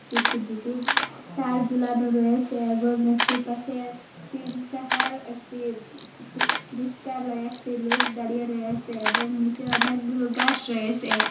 দুটি তার ঝুলানো রয়েসে এবং একটি পাশে তিন তাহার একটি রিস্কা লইয়া একটি লোক দাঁড়িয়ে রয়েসে এবং নিচে অনেকগুলো গাস রয়েসে।